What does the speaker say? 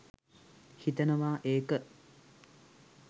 හිතනවා ඒක